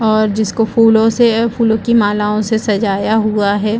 और जिसको फुलो से फुलो की मालाओ से सजाया हुआ है।